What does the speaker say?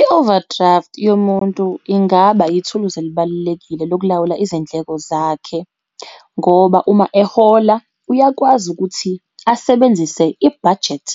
I-overdraft yomuntu ingaba yithuluzi elibalulekile lokulawula izindleko zakhe, ngoba uma ehola uyakwazi ukuthi asebenzise i-budget,